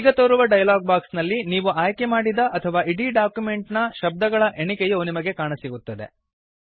ಈಗ ತೋರುವ dialog box ನಲ್ಲಿ ನೀವು ಆಯ್ಕೆ ಮಾಡಿದ ಅಥವಾ ಇಡೀ ಡಾಕ್ಯುಮೆಂಟ್ ನ ಶಬ್ದಗಳ ಎಣಿಕೆಯು ನಿಮಗೆ ಕಾಣಸಿಗುತ್ತದೆ